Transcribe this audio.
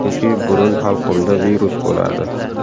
Chunki burun-halqumda virus bo‘ladi.